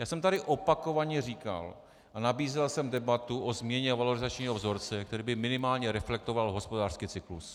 Já jsem tady opakovaně říkal a nabízel jsem debatu o změně valorizačního vzorce, který by minimálně reflektoval hospodářský cyklus.